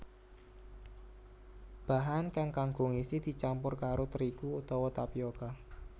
Bahan kang kanggo ngisi dicampur karo trigu utawa tapioka